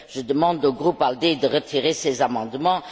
Je demande au groupe ALDE de retirer ces amendements.